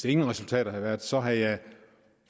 ingen resultater havde været så havde jeg